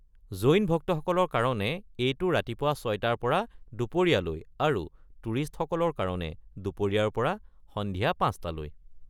জৈন ভক্তসকলৰ কাৰণে এইটো ৰাতিপুৱা ৬টাৰ পৰা দুপৰীয়ালৈ আৰু টুৰিষ্টসকলৰ কাৰণে দুপৰীয়াৰ পৰা সন্ধিয়া ৫টালৈ।